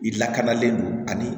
I lakanalen don ani